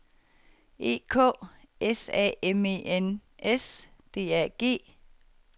E K S A M E N S D A G